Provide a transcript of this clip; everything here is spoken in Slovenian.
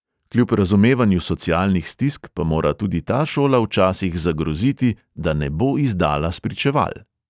Kljub razumevanju socialnih stisk pa mora tudi ta šola včasih zagroziti, da ne bo izdala spričeval.